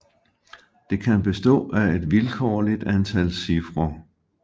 Det kan bestå af et vilkårligt antal cifre